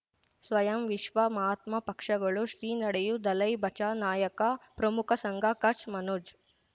ಸ್ವಯಂ ವಿಶ್ವ ಮಹಾತ್ಮ ಪಕ್ಷಗಳು ಶ್ರೀ ನಡೆಯೂ ದಲೈ ಬಚೌ ನಾಯಕ ಪ್ರಮುಖ ಸಂಘ ಕಚ್ ಮನೋಜ್